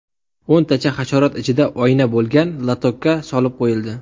O‘ntacha hasharot ichida oyna bo‘lgan lotokka solib qo‘yildi.